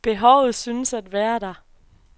Behovet synes at være der.